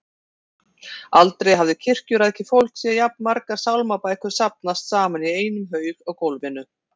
Aldrei hafði kirkjurækið fólk séð jafn margar sálmabækur safnast saman í einum haug á gólfinu.